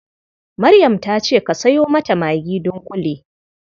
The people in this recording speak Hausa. Maryam ta ce ka sayo mata magi dunƙule.